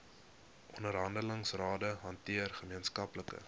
onderhandelingsrade hanteer gemeenskaplike